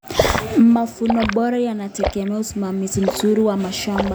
Mavuno bora yanategemea usimamizi mzuri wa mashamba.